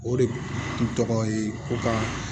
O de kun tɔgɔ ye ko ka